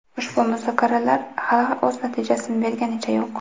ushbu muzokaralar hali o‘z natijasini berganicha yo‘q.